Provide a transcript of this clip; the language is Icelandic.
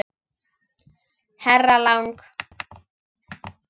Herra Lang.